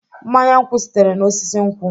Mmanye nkwụ sitere n'osisi nkwụ.